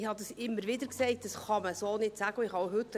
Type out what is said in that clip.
Ich habe immer wieder gesagt, dass man dies so nicht sagen kann.